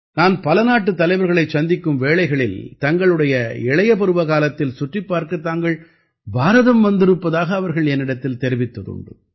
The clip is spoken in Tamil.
நான் பல நாட்டுத் தலைவர்களைச் சந்திக்கும் வேளைகளில் தங்களுடைய இளைய பருவகாலத்தில் சுற்றிப்பார்க்கத் தாங்கள் பாரதம் வந்திருப்பதாக அவர்கள் என்னிடத்தில் தெரிவித்ததுண்டு